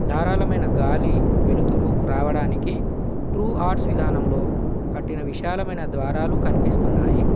దారాలమైన గాలి వెలుతురు రావడానికి ట్రూ ఆర్ట్స్ విధానంలో కట్టిన విశాలమైన ద్వారాలు కనిపిస్తున్నాయి.